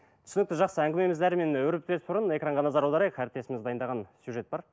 түсінікті жақсы әңгімемізді әрімен өрбітпес бұрын экранға назар аударайық әріптесіміз дайындаған сюжет бар